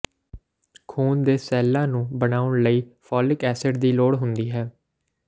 ਖੂਨ ਦੇ ਸੈੱਲਾਂ ਨੂੰ ਬਣਾਉਣ ਲਈ ਫੋਲਿਕ ਐਸਿਡ ਦੀ ਲੋੜ ਹੁੰਦੀ ਹੈ